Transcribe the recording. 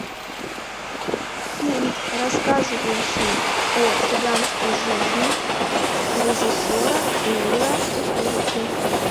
фильм рассказывающий о цыганской жизни режиссера эмира кустурицы